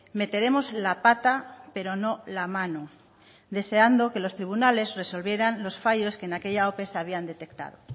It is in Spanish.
meteremos la pata pero no la mano deseando que los tribunales resolvieran los fallos que en aquella ope se habían detectado